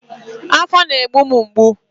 Afọ na-egbu m mgbu